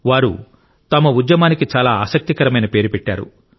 వారు తమ ఉద్యమానికి చాలా ఆసక్తికరమైన పేరు పెట్టారు